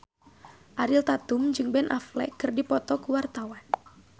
Ariel Tatum jeung Ben Affleck keur dipoto ku wartawan